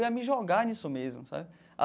Eu ia me jogar nisso mesmo, sabe?